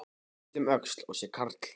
Ég lít um öxl og sé karl